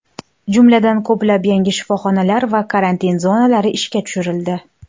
Jumladan, ko‘plab yangi shifoxonalar va karantin zonalari ishga tushirildi.